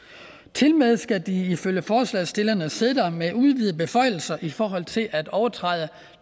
tilmed skal de ifølge forslagsstillerne sidde der med udvidede beføjelser i forhold til at overtræde